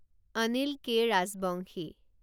Anil K. Rajbongshi